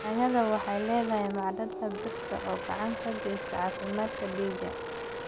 Yaanyada waxay leedahay macdanta birta oo gacan ka geysata caafimaadka dhiigga.